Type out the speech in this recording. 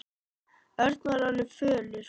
Örn var orðinn fölur.